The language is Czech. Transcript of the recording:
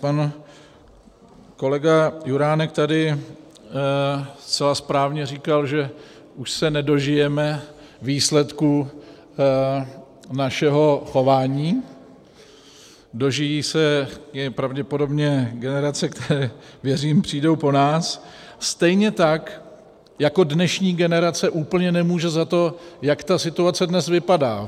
Pan kolega Juránek tady zcela správně říkal, že už se nedožijeme výsledku našeho chování, dožijí se jej pravděpodobně generace, které, věřím, přijdou po nás, stejně tak jako dnešní generace úplně nemůže za to, jak ta situace dnes vypadá.